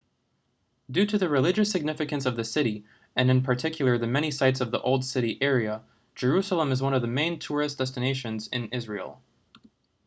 due to the religious significance of the city and in particular the many sites of the old city area jerusalem is one of the main tourist destinations in israel